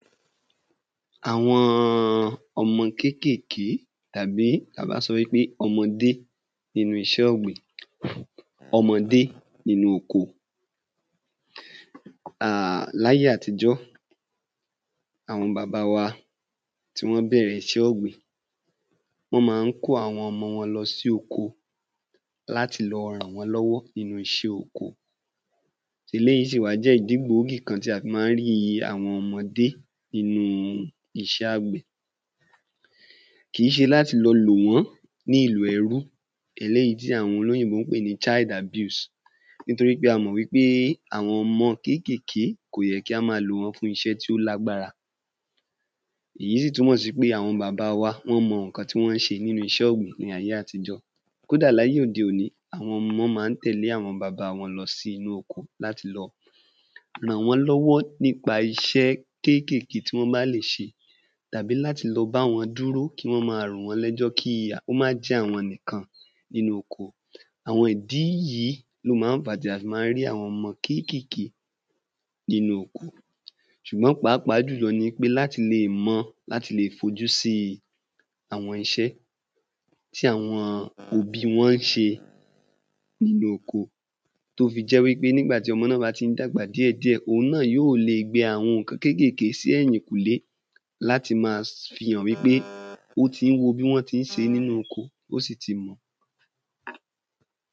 Àwọn ọmọ kékèké àbí ta bá sọ wí pé ọmọdé inú iṣẹ́ ọ̀gbìn ọmọdé inú oko láyé àtijọ́ àwọn baba wa tí wọ́n bẹ̀rẹ̀ iṣẹ́ ọ̀gbìn wọ́n ma ń kó àwọn ọmọ wọn lọ sí oko láti lọ ràn wọ́n lọ́wọ́ nínú oko eléyí wá jẹ́ ìdí gbòógì kan tí a fi má ń rí àwọn ọmọdé nínú iṣẹ́ àgbẹ̀ kìí ṣe láti lo lò wọ́n ní ìlò ẹrú eléyí tí àwọn olóyìnbó ń pè ní ‘child abuse’ nítorí pé a mọ̀ wí pé àwọn ọmọ kékèké kò ye kí á ma lò wọ́n fún iṣẹ́ tí ó lágbára ìyí sì túmọ̀ sí pé àwọn bàba wa wọ́n mọ ǹkan tí wọ́n ṣe láyé àtijọ́ kódà láyé òde òní àwọn ọmọ má ń tẹ̀lé àwọn bàba wọn lọ sí inú oko ràn wọ́n lọ́wọ́ nípa iṣẹ́ kékèké tí wọ́n bá lè ṣe tàbí láti lọ báwọn dúró kí wọ́n ma rò wọ́n lẹ́jọ́ kí à kó má jẹ́ àwọn nìkan inú oko àwọn ìdí yí ló ma ń fà ta fi má ń rí àwọn ọmọ kékèké ninú oko ṣùgbọ́n pàápàá jùlọ ni í pé láti le è mọ láti le è fojú si àwọn iṣẹ́ iṣẹ́ àwọn òbí wọn ń ṣe ninú oko tó fi jẹ́ wí pé nígbà tí ọmọ náà ba tí ń dàgbà díẹ̀díẹ̀ òun náà yóò le gbìn àwọn ǹkan kékèké sí ẹ́yìnkùlé láti ma fihàn wí pé ó tí ń wo bí wọ́n tí ń se nínú oko ó si ti mọ̀